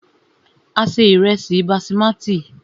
A se ìrẹ́sí basimati.